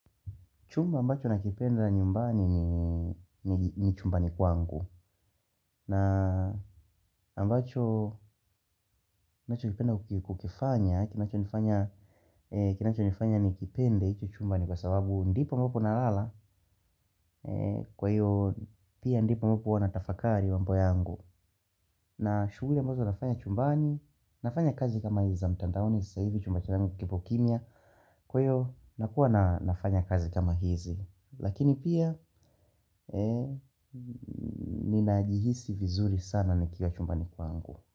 Chumba ambacho nakipenda nyumbani ni chumbani kwangu. Na ambacho nakipenda kukifanya kinacho nifanya nikipende hicho chumbani kwa sababu ndipo ambapo nalala. Kwa hiyo pia ndipo ambapo huwa natafakari mambo yangu. Na shuguli ambazo nafanya chumbani nafanya kazi kama hizi za mtandaoni sasa hivi chumba changu kipo kimya. Kwa hiyo nakuwa na nafanya kazi kama hizi. Lakini pia ninajihisi vizuri sana nikiwa chumbani kwangu.